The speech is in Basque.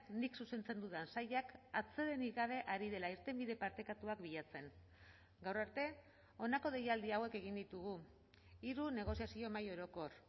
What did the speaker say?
nik zuzentzen dudan sailak atsedenik gabe ari dela irtenbide partekatuak bilatzen gaur arte honako deialdi hauek egin ditugu hiru negoziazio mahai orokor